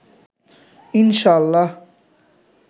ইনশা-আল্লাহ